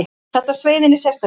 Þetta sveið henni sérstaklega.